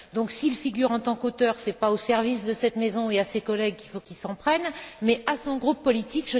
S'il figure en tant qu'auteur, ce n'est pas aux services de cette maison et à ses collègues qu'il faut qu'il s'en prenne mais à son groupe politique.